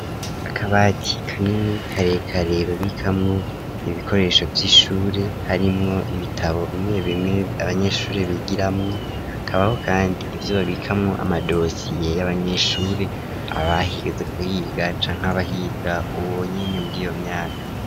Akabati kanini karekare babikamwo ibikoresho vy'ishure harimwo ibitabo bimwe bimwe abanyeshuri bigiramwo, hakabaho kandi ivyo babikamwo amadosiye y'abanyeshuri abigeze kuhiga canke abahiga ubu nyene muri iyo myaka.